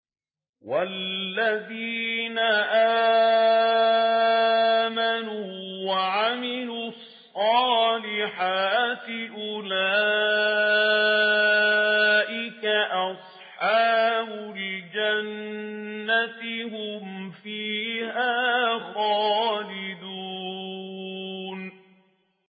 وَالَّذِينَ آمَنُوا وَعَمِلُوا الصَّالِحَاتِ أُولَٰئِكَ أَصْحَابُ الْجَنَّةِ ۖ هُمْ فِيهَا خَالِدُونَ